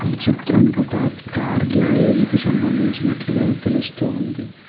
ఈ చిత్రం ఒక కార్ గ్యారేజ్ కి సంబంధించినట్లుగా తెలుస్తుంది.